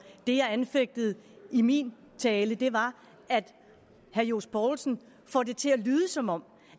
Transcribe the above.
det jeg anfægtede i min tale var at herre johs poulsen får det til at lyde som om